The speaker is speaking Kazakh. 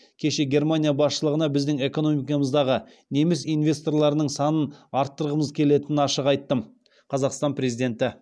кеше германия басшылығына біздің экономикамыздағы неміс инвесторларының санын арттырғымыз келетінін ашық айттым қазақстан президенті